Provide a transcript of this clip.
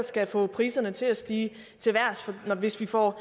skal få priserne til at stige til vejrs hvis vi får